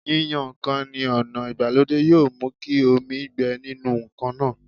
Yíyan ǹkan ní ọ̀nà ìgbàlódé yóò mú kí omi gbẹ nínú ǹkan náà